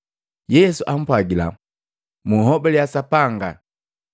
Yesu ampwagila, “Munhobalya Sapanga.